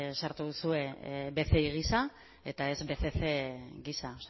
sartu duzue bci gisa eta ez bcc gisa